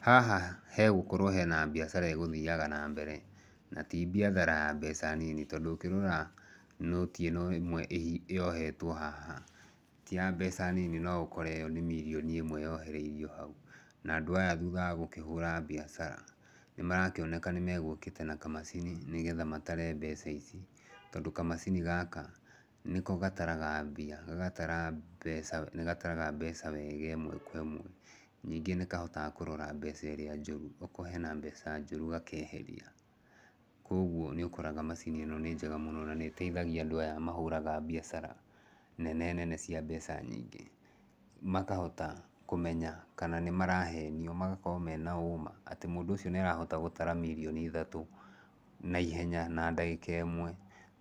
Haha hegũkorwo hena biacara ĩgũthiaga na mbere. Na ti biathara ya mbeca nini tondũ ngĩrora nũti ĩno ĩmwe yohetwo haha, ti ya mbeca nini no ũkore ĩyo nĩ mirioni ĩmwe yohereirio hau. Na andũ aya thutha wa gũkĩhũra biacara, nĩ marakĩoneka nĩ megũkĩte na kamacini nĩgetha matare mbeca ici. Tondũ kamacini gaka, nĩko gataraga mbia, gagatara mbeca. Nĩ gataraga mbeca wega kwĩ mũndũ. Nyingĩ nĩ kahotaga mbeca ĩrĩa njũru. Okorwo hena mbeca njũru gakeheria. Kũguo nĩ ũkoraga macini ĩno nĩ njega mũno na nĩ ĩteithagia andũ aya mahũraga biacara nene nene cia mbeca nyingĩ makahota kũmenya kana nĩmarahenio, magakorwo mena ũma, atĩ mũndũ ũcio nĩ arahota gũtara mirioni ithatũ naihenya, na ndagĩka ĩmwe.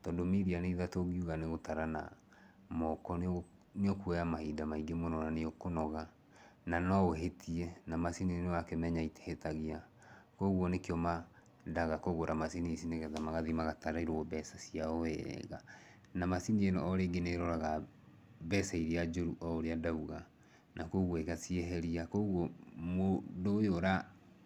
Tondũ mirioni ithatũ ũngiuga nĩ gũtara na moko nĩ nĩ ũkuoya mahinda maingĩ mũno, na nĩ ũkũnoga, na no ũhĩtie. Na macini nĩ wakĩmenya itihĩtagia. Kũguo nĩkĩo mendaga kũgũra macini ici nĩgetha magathi magatarĩrwo mbeca ciao wega. Na macini ĩno o rĩngĩ nĩ ĩroraga mbeca irĩa njũru o ũrĩa ndauga. Na kũguo ĩgacieheria. Kũguo mũndũ ũyũ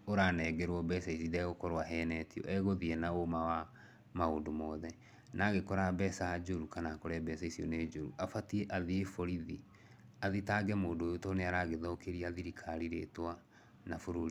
ũranengerwo mbeca ici ndegũkorwo ahenetio. Egũthiĩ ena ũũma wa maũndũ mothe. Na agĩkora mbeca njũru kana akore mbeca icio nĩ njũru, abatiĩ athiĩ borithi, athitange mũndũ ũyũ to nĩ aragĩthũkĩria thirikari rĩtwa na bũrũri.